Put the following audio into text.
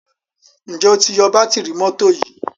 njé o tí yó Bátìrì mọ́tò yí?